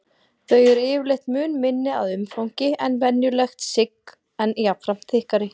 Þau eru yfirleitt mun minni að umfangi en venjulegt sigg en jafnframt þykkari.